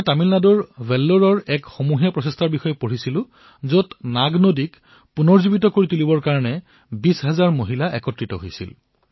মই তামিলনাডুৰ বেল্লুৰত এক সামুহিক প্ৰয়াসৰ বিষয়ে পঢ়িবলৈ পাইছিলো যত নাগনদীক পুনৰ্জীৱিত কৰাৰ বাবে ২০ হাজাৰ গৰাকী মহিলা ওলাই আহিছিল